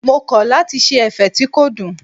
Mo kọ̀ lati ṣe ẹ̀fẹ̀ tí kò dùn.